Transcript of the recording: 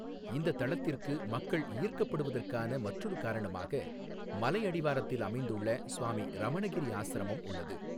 இந்தத் தளத்திற்கு மக்கள் ஈர்க்கப்படுவதற்கான மற்றொரு காரணமாக மலை அடிவாரத்தில் அமைந்துள்ள சுவாமி ரமணகிரி ஆசிரமம் உள்ளது.